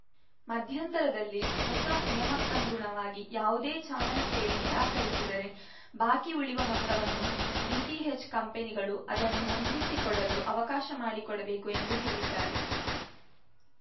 ಮಧ್ಯಂತರದಲ್ಲಿ ಹೊಸ ನಿಯಮಕ್ಕನುಗುಣವಾಗಿ ಯಾವುದೇ ಚಾನೆಲ್‌ ಸೇವೆ ನಿರಾಕರಿಸಿದರೆ ಬಾಕಿ ಉಳಿವ ಮೊತ್ತವನ್ನು ಡಿಟಿಹೆಚ್‌ ಕಂಪನಿಗಳು ಅದನ್ನು ಹೊಂದಿಸಿಕೊಡಲು ಅವಕಾಶ ಮಾಡಿಕೊಡಬೇಕು ಎಂದು ಹೇಳಿದ್ದಾರೆ